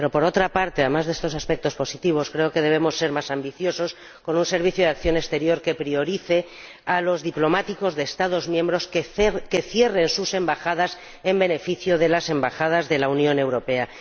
Pero, por otra parte, además de estos aspectos positivos, creo que debemos ser más ambiciosos, con un Servicio Europeo de Acción Exterior que dé prioridad a los diplomáticos de los Estados miembros que cierren sus embajadas en beneficio de las embajadas de la Unión Europea.